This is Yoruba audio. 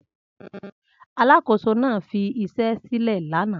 Alákòóso náà fi iṣẹ́ sílẹ̀ lánàá